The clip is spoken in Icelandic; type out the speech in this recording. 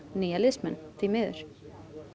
nýja liðsmenn því miður